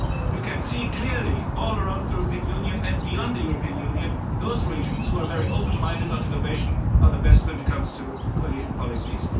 You can see clearly all around the European Union and beyond the European Union that those regions who are very open-minded on innovation are the best when it comes to cohesion policies.